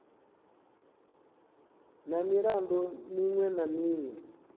na milandu miṅwe na miṅwe